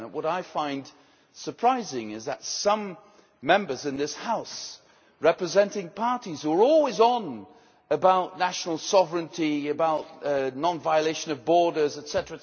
G7. What I find surprising is that some Members in this House representing parties who are always on about national sovereignty, about non violation of borders,